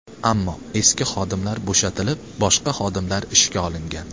Ammo eski xodimlar bo‘shatilib, boshqa xodimlar ishga olingan.